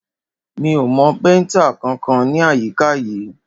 Mi ò mọ péntà kankan ní àyíká yìí.